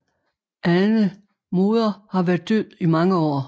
Anne moder har været død i mange år